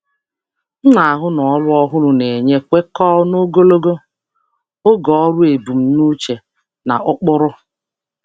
Ana m ahụ na onyinye ọrụ ọhụrụ dabara na ebumnuche ọrụ ogologo oge na ụkpụrụ m.